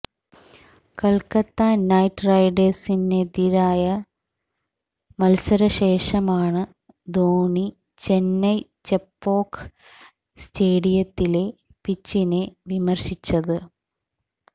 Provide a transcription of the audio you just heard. Kolkata night റൈഡേഴ്സിനെതിരായ മത്സരശേഷമാണ് ധോണി ചെന്നൈ ചെപ്പോക്ക് സ്റ്റേഡിയത്തിലെ പിച്ചിനെ വിമര്ശിച്ചത്